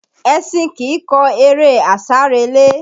Ẹṣin kìí kọ eré àsárelé